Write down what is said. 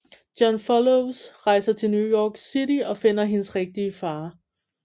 John followes rejser til New York City og finder hendes rigtige far